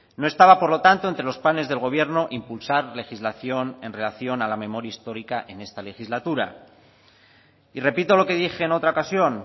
no estaba por lo tanto entre los planes del gobierno impulsar legislación en relación a la memoria histórica en esta legislatura y repito lo que dije en otra ocasión